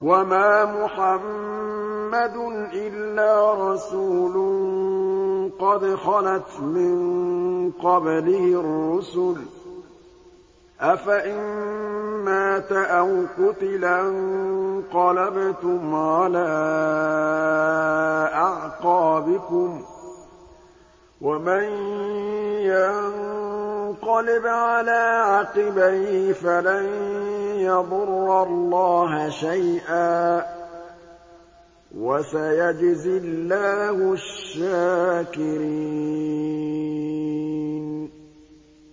وَمَا مُحَمَّدٌ إِلَّا رَسُولٌ قَدْ خَلَتْ مِن قَبْلِهِ الرُّسُلُ ۚ أَفَإِن مَّاتَ أَوْ قُتِلَ انقَلَبْتُمْ عَلَىٰ أَعْقَابِكُمْ ۚ وَمَن يَنقَلِبْ عَلَىٰ عَقِبَيْهِ فَلَن يَضُرَّ اللَّهَ شَيْئًا ۗ وَسَيَجْزِي اللَّهُ الشَّاكِرِينَ